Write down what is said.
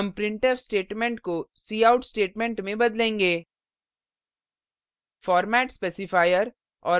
at में हम printf statement को cout statement में बदलेंगे